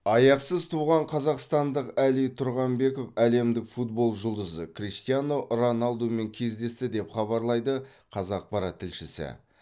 аяқсыз туған қазақстандық әли тұрғанбеков әлемдік футбол жұлдызы криштиану роналдумен кездесті деп хабарлайды қазақпарат тілшісі